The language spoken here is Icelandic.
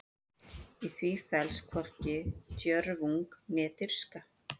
Í því felst hvorki djörfung né dirfska.